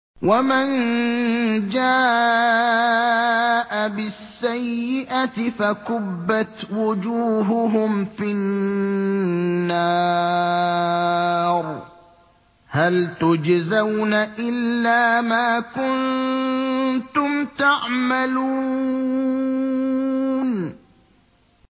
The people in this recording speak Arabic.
وَمَن جَاءَ بِالسَّيِّئَةِ فَكُبَّتْ وُجُوهُهُمْ فِي النَّارِ هَلْ تُجْزَوْنَ إِلَّا مَا كُنتُمْ تَعْمَلُونَ